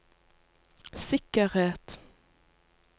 sikkerhet